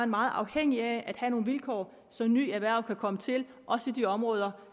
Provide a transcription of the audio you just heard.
meget afhængige af at have nogle vilkår så nye erhverv kan komme til også i de områder